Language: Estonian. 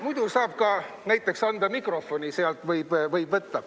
Muidu sealt võib ka näiteks mikrofoni võtta.